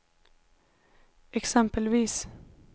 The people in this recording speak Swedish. exempelvis